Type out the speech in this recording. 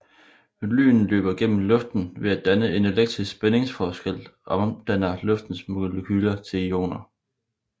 Lyn løber gennem luften ved at en elektrisk spændingsforskel omdanner luftens molekyler til ioner